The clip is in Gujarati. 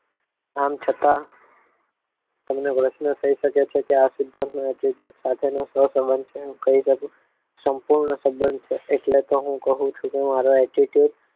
આમ છતાં તમને પ્રશ્ન થઈ શકે છે કે આ સિદ્ધાંત નો attitude સાથેનો સહસંબંધ છે એ હું કહી શકું સંપૂર્ણ સંબંધ છે એટલે તો હું કહું છું કે હું મારો attitude